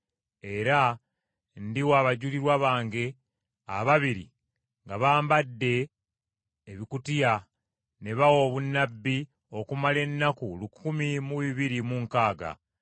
Era ndiwa abajulirwa bange ababiri nga bambadde ebibukutu ne bawa obunnabbi okumala ennaku lukumi mu bibiri mu nkaaga (1,260).”